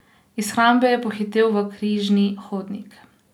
Iz shrambe je pohitel v križni hodnik.